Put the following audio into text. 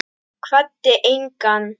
Kvaddi engan.